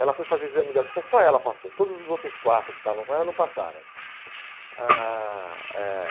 Ela foi fazer o exame de autoescola, só ela passou, todos os outros quatro que estavam com ela não passaram. Ãh eh